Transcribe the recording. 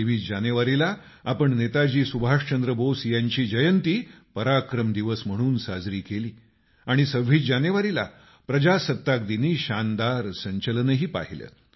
23जानेवारीला आपण नेताजी सुभाषचंद्र बोस यांची जयंती पराक्रम दिवस म्हणून साजरी केली आणि 26 जानेवारीला प्रजासत्ताक दिनी शानदार संचलनही पाहिलं